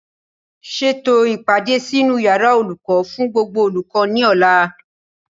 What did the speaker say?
Ṣètò o ìpàdé sínú yàrá olùkọ́ fún gbogbo olùkọ́ ní ọ̀la